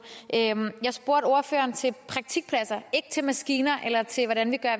jeg spurgte ordføreren til praktikpladser og ikke til maskiner eller til hvordan vi gør